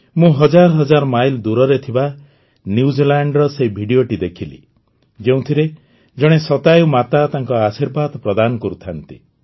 ମୁଁ ହଜାର ହଜାର ମାଇଲ ଦୂରରେ ଥିବା ନ୍ୟୁଜିଲାଣ୍ଡର ସେହି ଭିଡିଓଟି ଦେଖିଲି ଯେଉଁଥିରେ ଜଣେ ଶତାୟୂ ମାତା ତାଙ୍କ ଆଶୀର୍ବାଦ ପ୍ରଦାନ କରୁଥାନ୍ତି